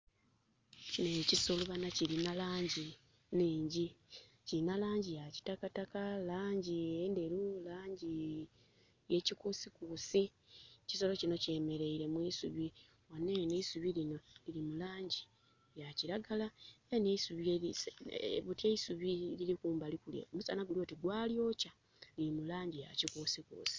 Kinho ekisolo bana kilina langi enhingi. Kilina langi ya kitakataka, langi endheru, langi yekikusikusi. Ekisolo kino kyemereire mwisubi. Aneno eisubi lino liri mu langi ya kilagala, buti eusubi eriri kumbali kule musana gulyoti gwalyokya liri mu langi ya kikusikusi.